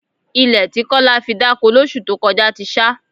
Ilẹ̀ tí Kọ́lá fi dáko lóṣù tó kọjá ti ṣá